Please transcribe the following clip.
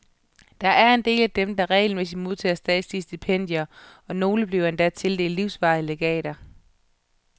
Der er en del af dem, der regelmæssigt modtager statslige stipendier, og nogle bliver endda tildelt livsvarige legater.